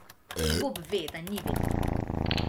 Bob ve, da ni vedno tako.